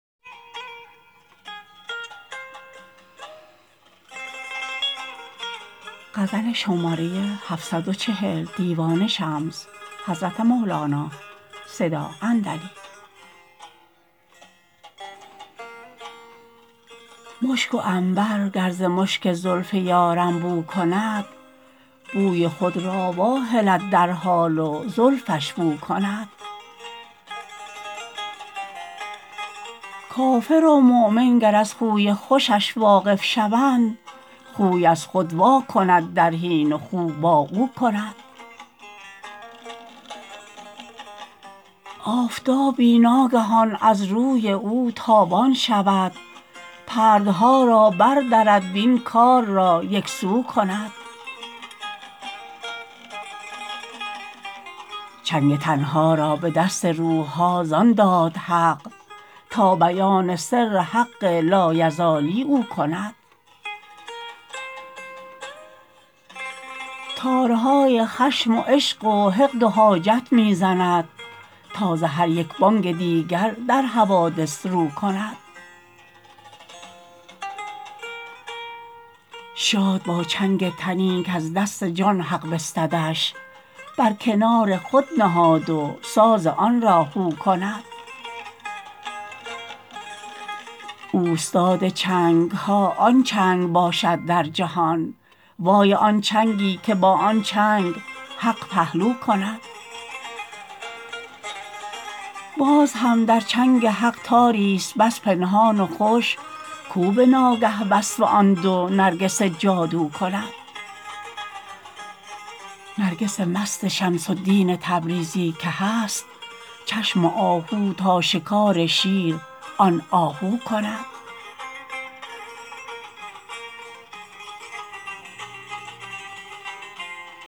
مشک و عنبر گر ز مشک زلف یارم بو کند بوی خود را واهلد در حال و زلفش بو کند کافر و مؤمن گر از خوی خوشش واقف شوند خوی را خود واکند در حین و خو با او کند آفتابی ناگهان از روی او تابان شود پردها را بردرد وین کار را یک سو کند چنگ تن ها را به دست روح ها زان داد حق تا بیان سر حق لایزالی او کند تارهای خشم و عشق و حقد و حاجت می زند تا ز هر یک بانگ دیگر در حوادث رو کند شاد با چنگ تنی کز دست جان حق بستدش بر کنار خود نهاد و ساز آن را هو کند اوستاد چنگ ها آن چنگ باشد در جهان وای آن چنگی که با آن چنگ حق پهلو کند باز هم در چنگ حق تاریست بس پنهان و خوش کو به ناگه وصف آن دو نرگس جادو کند نرگسان مست شمس الدین تبریزی که هست چشم آهو تا شکار شیر آن آهو کند